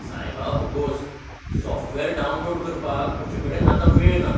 सायबा भोगोस, software download करपाक म्हजे कडेन आतां वेळ ना.